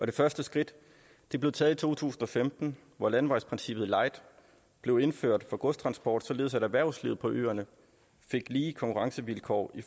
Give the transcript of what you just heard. det første skridt blev taget i to tusind og femten hvor landevejsprincippet light blev indført for godstransport således at erhvervslivet på øerne fik lige konkurrencevilkår i